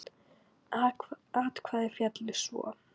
Atkvæði féllu svo